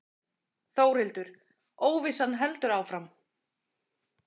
Þórhildur: Óvissan heldur áfram?